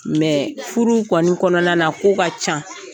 furu kɔni kɔnɔna na ko ka ca,